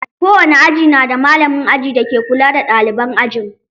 Kowane aji na da malamin aji dake kula da ɗaliban ajin.